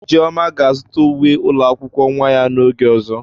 Ijeoma ga-azụta uwe ụlọ akwụkwọ nwa ya n'oge ọzọ.